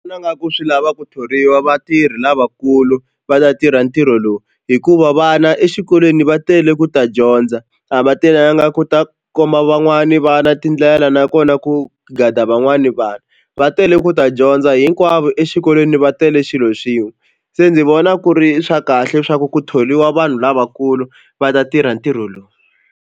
Vona nga ku swi lava ku thoriwa vatirhi lavakulu va ta tirha ntirho lowu hikuva vana exikolweni va tele ku ta dyondza a va telanga ku ta komba van'wani vana tindlela nakona ku gada van'wani vanhu va tele ku ta dyondza hinkwavo exikolweni va tele xilo xin'we se ndzi vona ku ri swa kahle swa ku ku thoriwa vanhu lavakulu va ta tirha ntirho lowu.